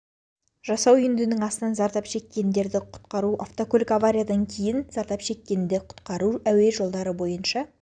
жасау үйіндінің астынан зардап шеккенді құтқару автокөлік авариядан кейін зардап шеккенді құтқару әуе жолдары бойынша